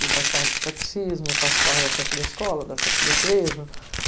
Eu participava dos catecismo, participava da festa da escola, da festa da igreja.